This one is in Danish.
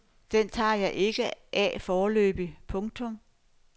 Den tager jeg ikke af foreløbig. punktum